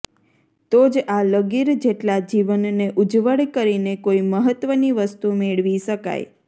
તો જ આ લગીર જેટલા જીવનને ઉજ્જવળ કરીને કોઈ મહત્વની વસ્તુ મેળવી શકાય